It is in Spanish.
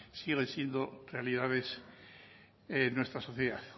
siguen siendo realidades en nuestra sociedad